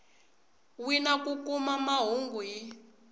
wina ku kuma mahungu hi